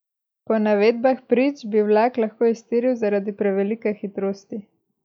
Po navedbah prič bi vlak lahko iztiril zaradi prevelike hitrosti.